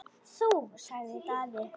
Þú, sagði Daði.